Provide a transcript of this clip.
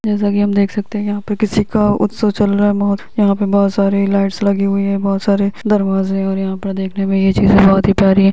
जैसे कि हम देख सकते हैं यहां पर किसी का उत्सव चल रहा है यहां पर बहुत सारे लाइट्स लगी हुई हैं बहुत सारे दरवाजे और यहां पर देखने में यह चीज बोहोत ही प्यारी है।